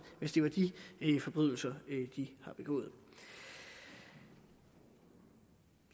hvis det var de forbrydelser de havde begået i